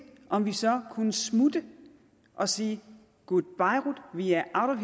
om vi så kunne smutte og sige goodbeirut vi er out